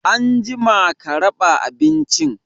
Anjima ka raɓa abincin!